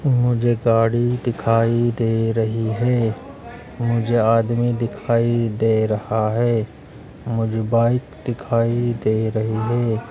मुझे गाड़ी दिखाई दे रही है। मुझे आदमी दिखाई दे रहा है। मुझे बाइक दिखाई दे रही है।